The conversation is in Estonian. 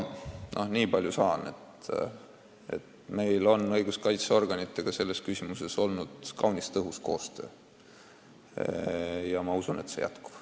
Nii palju saan, et meil on õiguskaitseorganitega selles küsimuses olnud kaunis tõhus koostöö ja ma usun, et see jätkub.